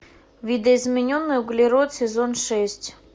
видоизмененный углерод сезон шесть